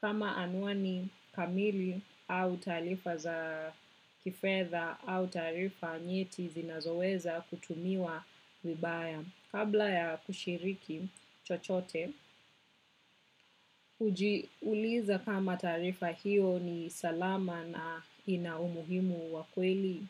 Kwangu binafsi, ningesema ni nalinda faraga yangu mtandaoni kwa kuwa mwangalifu sana na taarifa zinazo shiriki. Sitoi tarifa binafsi kirahisi hasaa kama si za lazima.